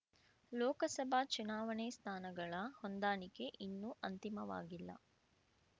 ಲೋಕಸಭಾ ಚುನಾವಣೆ ಸ್ಥಾನಗಳ ಹೊಂದಾಣಿಕೆ ಇನ್ನೂ ಅಂತಿಮವಾಗಿಲ್ಲ